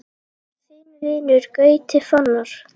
Þinn vinur, Gauti Fannar.